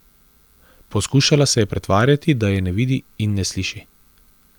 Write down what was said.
Poskušala se je pretvarjati, da je ne vidi in ne sliši.